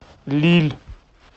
лилль